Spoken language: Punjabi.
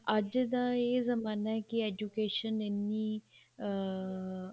ਅੱਜ ਦਾ ਇਹ ਜਮਾਨਾ ਹੈ ਕੀ education ਇੰਨੀ ਅਹ